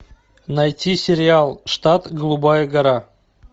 найти сериал штат голубая гора